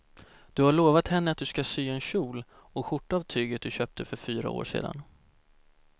Du har lovat henne att du ska sy en kjol och skjorta av tyget du köpte för fyra år sedan.